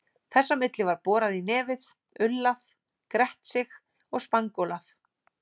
Þess á milli var borað í nefið, ullað, grett sig og spangólað.